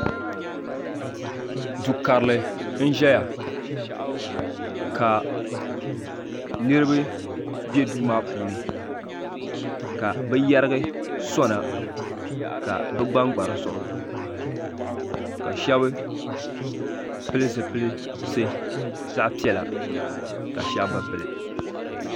do karili n ʒɛya ka niriba bɛ do maa puuni ka be yɛrigi sona ka be gbamgba di zuɣ shɛbi pɛli zipɛlisi zaɣ piɛla ka shɛbi be pɛli